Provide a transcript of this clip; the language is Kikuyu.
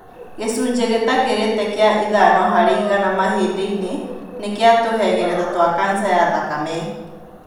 Gĩcunjĩ gĩtakĩrĩtie kĩa ithano harĩ igana mahĩndĩ-inĩ nĩ kĩa tũhengereta twa kanca ya thakame.